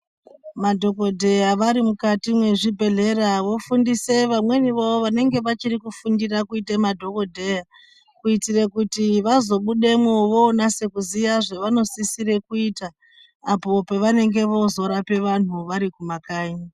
Madhokodheya vari mukati mwezvibhedhlera vofundise vamweni vavo vanenge vachiri kufundira kuite madhokodheya kuitira kuti vazobudemwo vonase kuziye zvavanosisire kuita, apo pevanozorape vanhu ,vari kumakanyi.